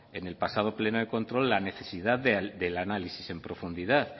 en el pasado pleno de control la necesidad del análisis en profundidad